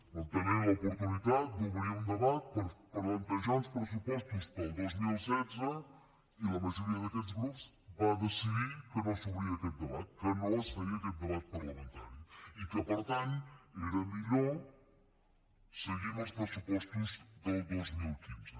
vam tenir l’oportunitat d’obrir un debat per plantejar uns pressupostos per al dos mil setze i la majoria d’aquests grups va decidir que no s’obria aquest debat que no es feia aquest debat parlamentari i que per tant era millor seguir amb els pressupostos del dos mil quinze